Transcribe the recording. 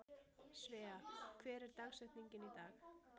Svea, hver er dagsetningin í dag?